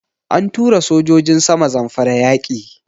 An tura sojojin sama Zamfara yaƙi.